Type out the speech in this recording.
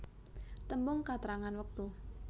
Tembung katrangan wektu